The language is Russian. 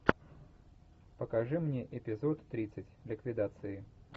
покажи мне эпизод тридцать ликвидации